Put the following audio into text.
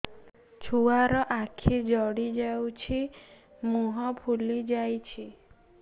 ଛୁଆର ଆଖି ଜଡ଼ି ଯାଉଛି ମୁହଁ ଫୁଲି ଯାଇଛି